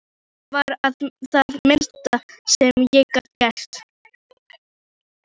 Þetta var það minnsta sem ég gat gert